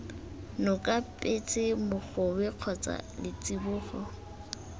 noka petse mogobe kgotsa letsibogo